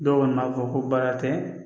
Dɔw kɔni b'a fɔ ko baara tɛ